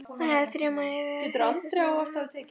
Hann hefði þrumað yfir hausamótunum á þeim.